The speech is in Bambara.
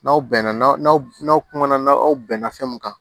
N'aw bɛn na n'aw n'aw kuma na aw bɛnna fɛn mun kan